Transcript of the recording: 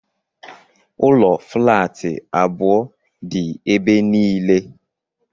Ụlọ flaatị abụọ dị ebe niile.